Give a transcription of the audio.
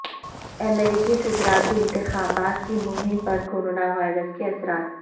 امریکی صدارتی انتخابات کی مہم پر کرونا وائرس کے اثرات